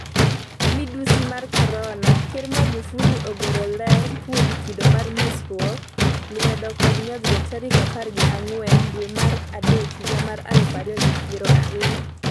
Midhusi mar Korona: Ker Magufuli ogolo ler kuom kido mar mosruok lwedo kod nyodhruok tarik apar gi ang'wen dwe mar Adek higa mar aluf ariyo gi piero ariyo.